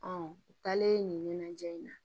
u taalen nin ɲɛnajɛ in na